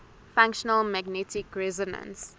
functional magnetic resonance